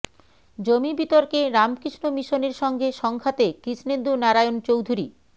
জমি বিতর্কে রামকৃষ্ণ মিশনের সঙ্গে সংঘাতে কৃষ্ণেন্দু নারায়ণ চৌধুরী